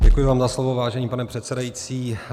Děkuji vám za slovo, vážený pane předsedající.